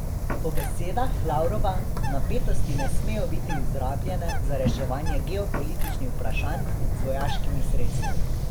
Po besedah Lavrova napetosti ne smejo biti izrabljene za reševanje geopolitičnih vprašanj z vojaškimi sredstvi.